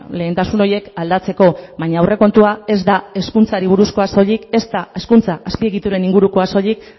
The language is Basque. lehentasun horiek aldatzeko baina aurrekontua ez da hezkuntzari buruzkoa soilik ez da hezkuntza azpiegituren ingurukoa soilik